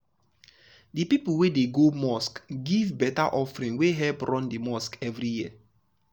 the people wey dey go mosque go mosque give better offering wey help run the mosque every year.